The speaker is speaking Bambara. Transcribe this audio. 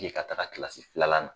E ka taga kilasi filanan na